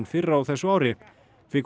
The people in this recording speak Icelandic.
fyrr á þessu ári